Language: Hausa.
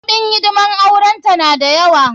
Kuɗin hidimar auren ta na da yawa.